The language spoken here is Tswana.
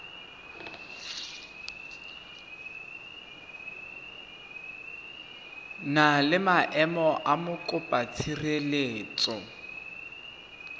na le maemo a mokopatshireletso